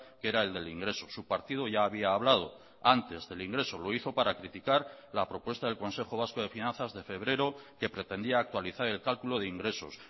que era el del ingreso su partido ya había hablado antes del ingreso lo hizo para criticar la propuesta del consejo vasco de finanzas de febrero que pretendía actualizar el cálculo de ingresos